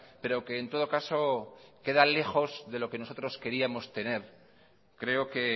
pero que en todo caso queda lejos de lo que nosotros queríamos tener creo que